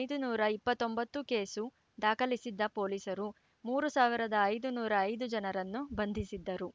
ಐದುನೂರ ಇಪ್ಪತ್ತೊಂಬತ್ತು ಕೇಸು ದಾಖಲಿಸಿದ್ದ ಪೊಲೀಸರು ಮೂರು ಸಾವಿರದ ಐದುನೂರ ಐದು ಜನರನ್ನು ಬಂಧಿಸಿದ್ದರು